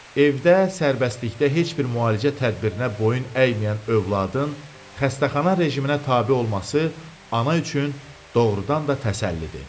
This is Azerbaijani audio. Evdə sərbəstlikdə heç bir müalicə tədbirinə boyun əyməyən övladın, xəstəxana rejiminə tabe olması ana üçün doğrudan da təsəllidir.